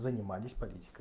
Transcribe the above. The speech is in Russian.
занимались политикой